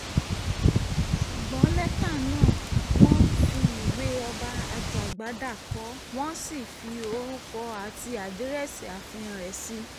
ṣùgbọ́n lẹ́tà náà wọ́n fi ìwé ọba ajàgbádá kọ ọ́ wọ́n sì fi orúkọ àti àdírẹ́sì ààfin rẹ̀ sí i